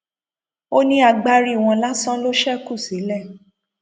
ó ní agbárí wọn lásán ló ṣekú sílẹ